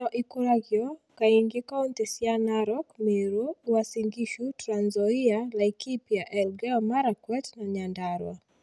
Ngano ĩkũragio kaingĩ kauntĩ cia Narok, Meru, Uasin Gishu, Trans Nzoia, Laikipia, Elgeyo Marakwet na Nyandarua